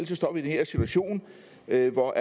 jeg ikke for